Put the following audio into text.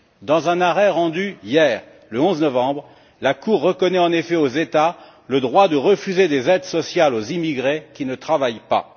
Dans un arrêt rendu hier, le 11 novembre, la Cour reconnaît en effet aux États le droit de refuser des aides sociales aux immigrés qui ne travaillent pas.